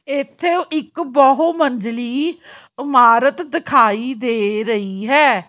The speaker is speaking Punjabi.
ਇੱਥੇ ਇੱਕ ਬਹੁ ਮੰਜ਼ਲੀ ਇਮਾਰਤ ਦਿਖਾਈ ਦੇ ਰਹੀ ਹੈ।